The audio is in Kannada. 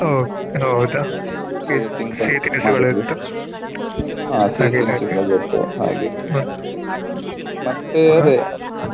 ಹ ತೀನ್ನುವುದ ಹ ಸಹಿ ತಿನಿಸುಗಳ ಉಂಟು ಹಾಗೆ ಮತ್ತೆ ಅದೇ